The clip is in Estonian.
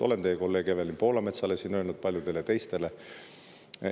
Olen seda siin öelnud teie kolleegile Evelin Poolametsale ja paljudele teistele.